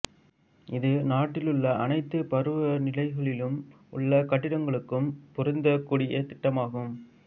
இது நாட்டில் உள்ள அனைத்து பருவநிலைகளிலும் உள்ள கட்டிடங்களுக்கும் பொருந்தக்கூடிய திட்டமாகும்